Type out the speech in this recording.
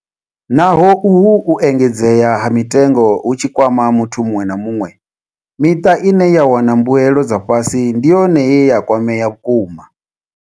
Naho uhu u engedzea ha mitengo hu tshi kwama muthu muṅwe na muṅwe, miṱa ine ya wana mbuelo dza fhasi ndi yone ye ya kwamea vhukuma.